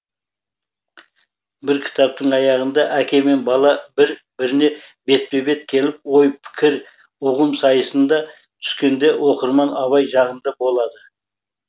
бір кітаптың аяғында әке мен бала бір біріне бетпе бет келіп ой пікір ұғым сайысына түскенде оқырман абай жағында болады